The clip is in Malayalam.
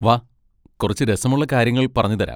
വാ, കുറച്ച് രസമുള്ള കാര്യങ്ങൾ പറഞ്ഞുതരാം.